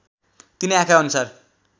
तिनै आँखा अनुसार